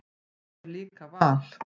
Það er líka val.